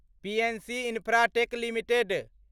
PNC Infratech limited